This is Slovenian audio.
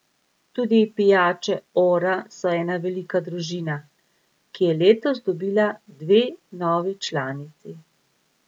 Tudi pijače Ora so ena velika družina, ki je letos dobila dve novi članici.